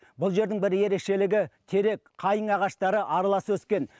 бұл жердің бір ерекшелігі терек қайың ағаштары аралас өскен